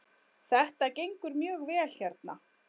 Þetta gengur mjög vel hérna.